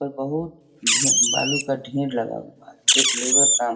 बहुत ढे भालू का ढेर लगा हुआ है एक लेबर काम--